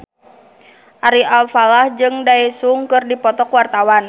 Ari Alfalah jeung Daesung keur dipoto ku wartawan